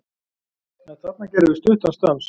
En þarna gerðum við stuttan stans